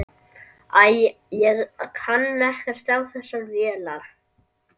Æ, ég kann ekkert á þessar vélar.